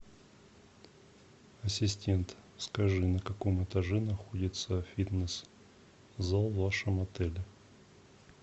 ассистент скажи на каком этаже находится фитнес зал в вашем отеле